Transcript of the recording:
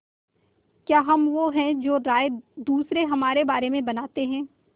क्या हम वो हैं जो राय दूसरे हमारे बारे में बनाते हैं